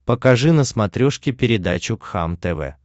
покажи на смотрешке передачу кхлм тв